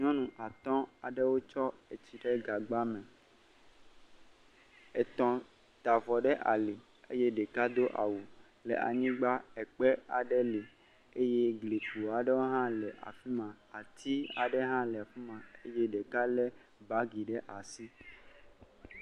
Nyɔnu at aɖewo tsɔ etsi ɖe gagba me. Etɔ ta avɔ ɖe ali eye ɖeka do awu le anyigba, ekpe aɖe le eye klikpo hã ɖe le afima. Ati hã le afima eye ɖeka le bagi ɖe asi.